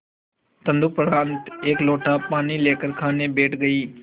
तदुपरांत एक लोटा पानी लेकर खाने बैठ गई